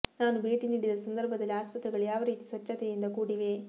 ನಾನು ಭೇಟಿ ನೀಡಿದ ಸಂದರ್ಭದಲ್ಲಿ ಆಸ್ಪತ್ರೆಗಳು ಯಾವ ರೀತಿ ಸ್ವಚ್ಛತೆಯಿಂದ ಕೂಡಿವೆ